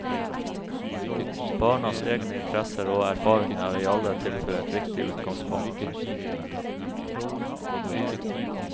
Barnas egne interesser og erfaringer er i alle tilfeller et viktig utgangspunkt.